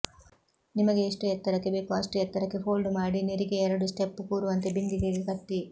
ನಿಮಗೆ ಎಷ್ಟು ಎತ್ತರಕ್ಕೆ ಬೇಕೋ ಅಷ್ಟು ಎತ್ತರಕ್ಕೆ ಫೋಲ್ಡ್ ಮಾಡಿ ನೆರಿಗೆ ಎರಡು ಸ್ಟೆಪ್ ಕೂರುವಂತೆ ಬಿಂದಿಗೆಗೆ ಕಟ್ಟಿ